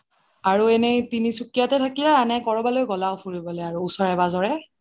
আৰু এনে তিনসুকিয়াতে থাকিলা নে কৰবালৈ গ'লাও ফুৰিবলে ওচৰে-পাঁজৰে